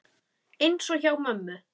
Eins og hjá mömmu.